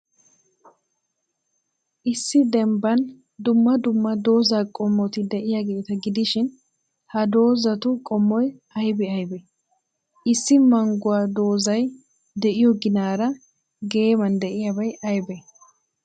Issi dembban dumma dumma dozaa qommoti de'iyaageeta gidishin, ha dozatu qommoy aybee aybee? Issi mangguwa dozay de'iyoo ginaara geemman de'iyaabay aybee?